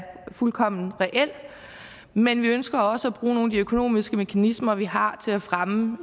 fuldkommen reel men vi ønsker også at bruge nogle af de økonomiske mekanismer vi har til at fremme